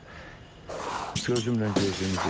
Ancaq gözümlə gördüyümü dedim.